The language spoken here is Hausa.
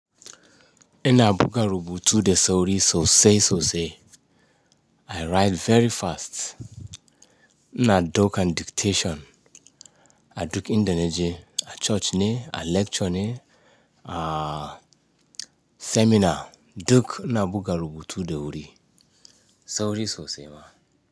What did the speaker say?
Ina buga rubutu da sauri sosai sosai. I write very fast. iNa daukan dictation, a duk inda na je, a coci ne, a lecture ne, a seminar, duk ina buga rubutu da wuri, sauri sosai ma.